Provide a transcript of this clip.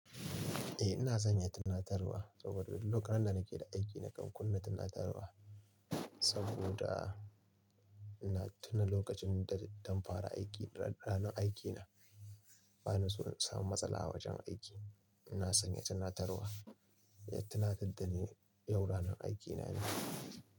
Eh ina sanya tunatarwa saboda duk lokunan da nake da aiki nakan kunna tunatarwa saboda ina tuna lokacin da dan fara aiki, ranar aiki na, bana so in samu matsala a wajen aiki. Ina sanya tunatarwa ya tunatar da ni yau ranar aiki na ne.